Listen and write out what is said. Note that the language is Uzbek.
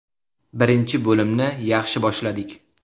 Birinchi bo‘limni yaxshi boshladik.